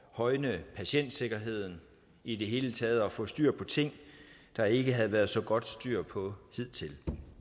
højne patientsikkerheden i det hele taget og for at få styr på ting der ikke havde været så godt styr på hidtil